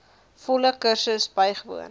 volle kursus bywoon